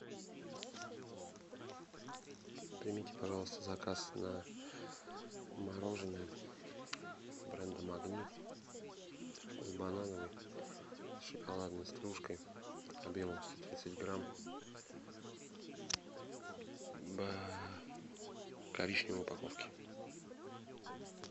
примите пожалуйста заказ на мороженое бренда магнит вкус банановый с шоколадной стружкой объемом сто тридцать грамм в коричневой упаковке